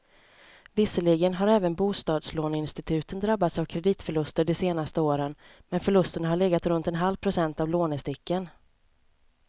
Visserligen har även bostadslåneinstituten drabbats av kreditförluster de senaste åren, men förlusterna har legat runt en halv procent av lånesticken.